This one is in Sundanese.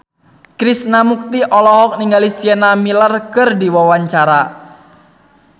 Krishna Mukti olohok ningali Sienna Miller keur diwawancara